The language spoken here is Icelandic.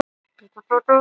Regnið lamdi gluggann.